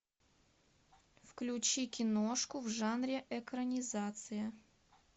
включи киношку в жанре экранизация